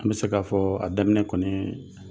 An be se k'a fɔɔ a daminɛ kɔnii